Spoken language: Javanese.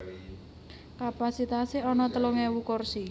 Kapasitasé ana telung ewu kursi